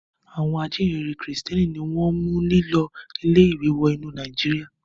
Àwọn ajíǹrere Kìrìtẹ́ẹ́nì ni wọ́n mú lílọ ilé-ìwé wọ inú Nàìjíríà.